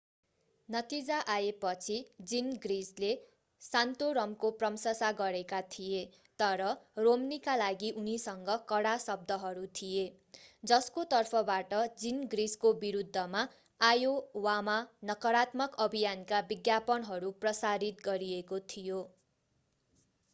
नतिजा आएपछि जिनग्रिचले सान्तोरमको प्रशंसा गरेका थिए तर रोम्नीका लागि उनीसँग कडा शब्दहरू थिए जसको तर्फबाट जिनग्रिचको विरूद्धमा आयोवामा नकारात्मक अभियानका विज्ञापनहरू प्रसारित गरिएको थियो